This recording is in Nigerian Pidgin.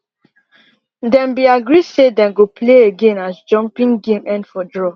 dem been agree say they go play again as jumping game end for draw